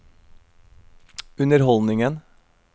underholdningen